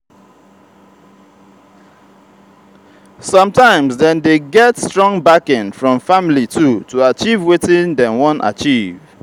sometimes dem de get strong backing from family too to achieve wetin dem won achieve